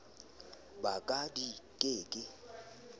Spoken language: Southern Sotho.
ba ka di ke ke